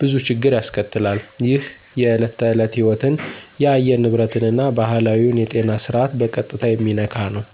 ብዙ ችግር ያስከትላል። ይህ የዕለት ተዕለት ሕይወትን፣ የአየር ንብረትን እና ባህላዊውን የጤና ስርዓት በቀጥታ የሚነካ ነው።